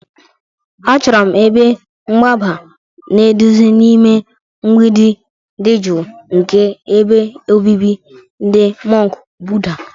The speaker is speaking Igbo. Achọrọ m ebe mgbaba na nduzi n'ime mgbidi dị jụụ nke ebe obibi ndị mọnk Buddha.